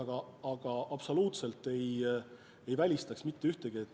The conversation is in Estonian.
Aga ma absoluutselt ei välista mitte ühtegi tegevust.